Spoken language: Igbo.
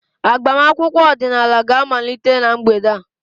Agbamakwụkwọ ọdịnala ga-amalite na mgbede a.